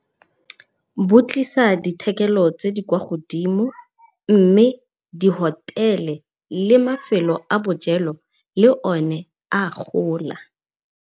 Bo tlisa dithekelo tse di kwa godimo mme di-hotel-e le mafelo a bojelo le one a gola.